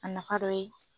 A nafa dɔ ye